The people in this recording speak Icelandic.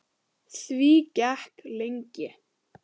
Því gekk lengi.